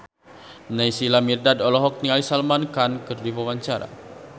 Naysila Mirdad olohok ningali Salman Khan keur diwawancara